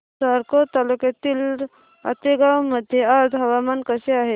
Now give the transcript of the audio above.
साकोली तालुक्यातील आतेगाव मध्ये आज हवामान कसे आहे